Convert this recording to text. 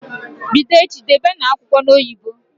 Bido echi, Debenụ akwụkwọ n'oyibo!